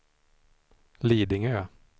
Lidingö